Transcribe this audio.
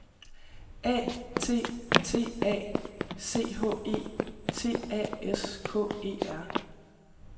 A T T A C H É T A S K E R